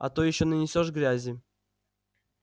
а то ещё нанесёшь грязи